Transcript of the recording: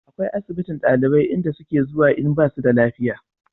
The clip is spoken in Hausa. akwai asibitin ɗalibai inda su ke zuwa in basu da lafiya